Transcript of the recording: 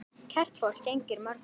Kært fólk gegnir mörgum nöfnum.